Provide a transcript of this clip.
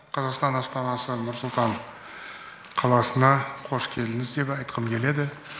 қазақстан астанасы нұр сұлтан қош келдіңіз деп айтқым келеді